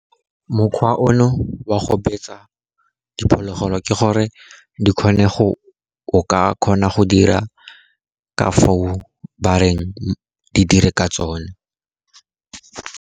Mokgwa ono wa go betsa diphologolo, ke gore di kgone go o ka kgona go dira ka foo ba reng di dire ka tsone.